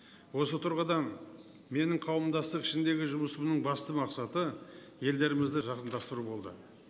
осы тұрғыдан менің қауымдастық ішіндегі жұмысымның басты мақсаты елдерімізді жақындастыру болды